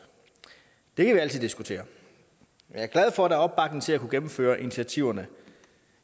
det kan vi altid diskutere jeg er glad for at der er opbakning til at kunne gennemføre initiativerne